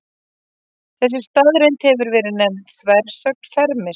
Þessi staðreynd hefur verið nefnd þversögn Fermis.